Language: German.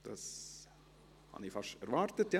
Das habe ich fast erwartet.